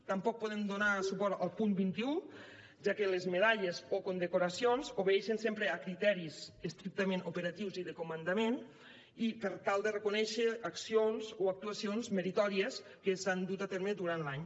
tampoc podem donar suport al punt vint un ja que les medalles o condecoracions obeeixen sempre a criteris estrictament operatius i de comandament i per tal de reconèixer accions o actuacions meritòries que s’han dut a terme durant l’any